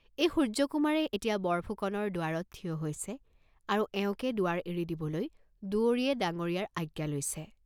এই সূৰ্য্যকুমাৰে এতিয়া বৰফুকনৰ দুৱাৰত থিয় হৈছে আৰু এওঁকে দুৱাৰ এৰি দিবলৈ দুৱৰীয়ে ডাঙ্গৰীয়াৰ আজ্ঞা লৈছে।